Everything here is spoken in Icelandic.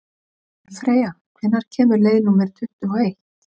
Kolfreyja, hvenær kemur leið númer tuttugu og eitt?